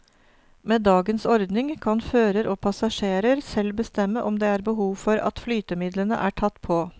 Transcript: Med dagens ordning kan fører og passasjerer selv bestemme om det er behov for at flytemidlene er tatt på.